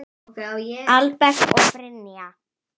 Albert og Brynja.